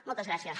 moltes gràcies